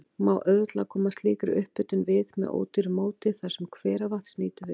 Má auðveldlega koma slíkri upphitun við með ódýru móti þar, sem hveravatns nýtur við.